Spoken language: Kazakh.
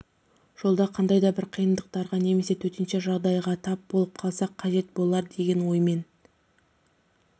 жолда қандай да бір қиындықтарға немесе төтенше жағдайға тап болып қалса қажет болар деген оймен